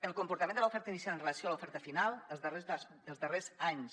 el comportament de l’oferta inicial amb relació a l’oferta final els darrers anys